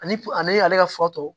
Ani ale ka fatɔ